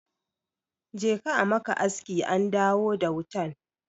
Je ka a maka aski an dawo da wutan.